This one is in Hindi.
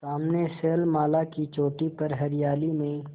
सामने शैलमाला की चोटी पर हरियाली में